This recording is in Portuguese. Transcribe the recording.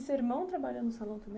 E seu irmão trabalha no salão também?